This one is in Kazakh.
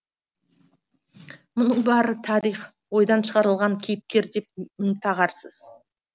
мұның бәрі тарих ойдан шығарылған кейіпкер деп мін тағарсыз